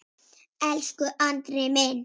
Elsku Andri minn.